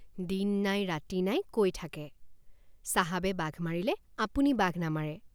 দিন নাই ৰাতি নাই কৈ থাকে চাহাবে বাঘ মাৰিলে আপুনি বাঘ নামাৰে।